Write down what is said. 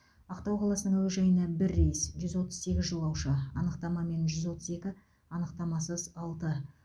ақтау қаласының әуежайынан бір рейс жүз отыз сегіз жолаушы анықтамамен жүз отыз екі анықтамасыз алты